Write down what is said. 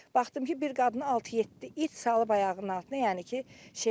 Baxdım ki, bir qadını altı-yeddi it salıb ayağının altına, yəni ki, şey eləyibdir.